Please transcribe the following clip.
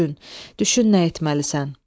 Düşün nə etməlisən?